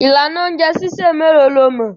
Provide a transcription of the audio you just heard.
Ìlànà oúnjẹ sísè mélòó lo mọ̀?